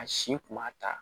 A si kun b'a ta